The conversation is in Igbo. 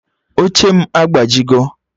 Oche m agbajigo